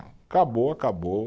Acabou, acabou.